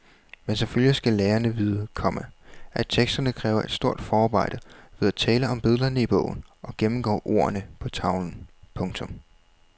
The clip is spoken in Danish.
Men selvfølgelig skal lærerne vide, komma at teksterne kræver et stort forarbejde ved at tale om billederne i bogen og gennemgå ordene på tavlen. punktum